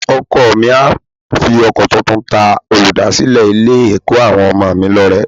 Ọkọ mi á fi ọkọ tuntun ta olùdásílẹ̀ Ilé-ẹ̀kọ́ àwọn ọmọ mi lọ́rẹ